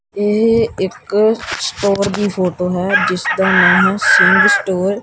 ਇਹ ਇੱਕ ਸਟੋਰ ਦੀ ਫੋਟੋ ਹੈ ਜਿਸਦਾ ਨਾਂ ਹੈ ਸਿੰਘ ਸਟੋਰ ।